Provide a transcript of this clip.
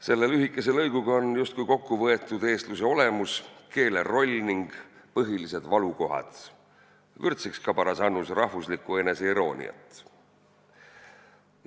" Selle lühikese lõiguga on justkui kokku võetud eestluse olemus, keele roll ning põhilised valukohad, vürtsiks ka paras annus rahvuslikku eneseirooniat.